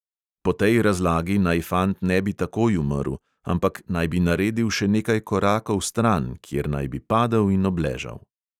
Po tej razlagi naj fant ne bi takoj umrl, ampak naj bi naredil še nekaj korakov stran, kjer naj bi padel in obležal.